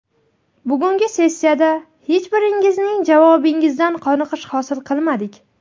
Bugungi sessiyada hech biringizning javobingizdan qoniqish hosil qilmadik.